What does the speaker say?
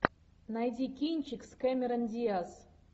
найди кинчик с кэмерон диаз